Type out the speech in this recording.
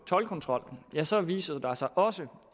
toldkontrol ja så viser der sig også